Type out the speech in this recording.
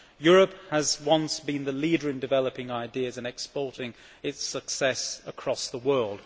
Europe was once the leader in developing ideas and exporting its success across the world.